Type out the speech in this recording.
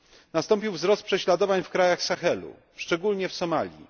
Nastąpił wzrost prześladowań w krajach Sahelu, szczególnie w Somalii.